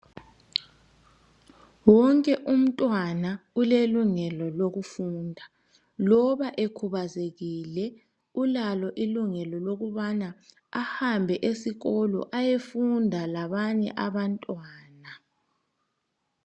Wonke umntwana ulelungelo lokufunda. Loba ekhubazekile. Ulalo ilungelo, lokubana ahambe esikolo, ayefunda labanye abantwana.